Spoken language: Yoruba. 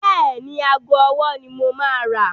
Bẹ́ẹ̀ni, ago ọwọ́ ni mo máa rà.